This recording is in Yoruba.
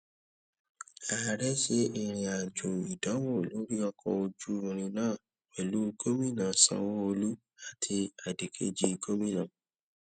ààrẹ ṣe ìrìn àjò ìdánwò lórí ọkọ ojú irin náà pẹlú gómìnà sanwoolu àti adìkejì gómìnà